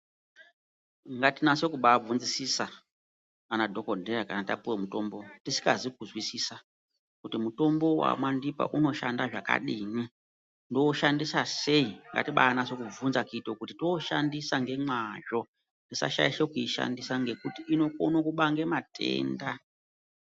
Ngatinase kubaabvunzisisa kuna dhokodheya kana tapuwe mitombo tisikazi kuzwisisa, kuti mutombo wamwandipa unoshanda zvakadini, ndoushanisa sei? Ngatibanase kubvunza kuita kuti tooshandisa ngemwazvo. Tisashaisha kuishandisa ngekuti inokone kubange matenda.